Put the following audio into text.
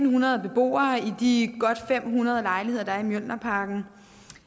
hundrede beboere i de godt fem hundrede lejligheder der er i mjølnerparken